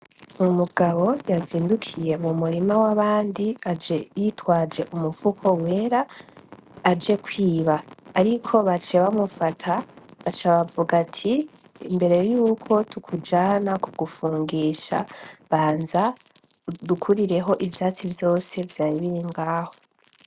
Umugabo yazindukiye mu murima w’abandi aje y'itwaje umufuko wera, aje kwiba ariko baciye bamufata baca bavuga ati imbere yuko tukujana kugupfungisha banza udukurireho ivyatsi vyose vyari biri ngaho.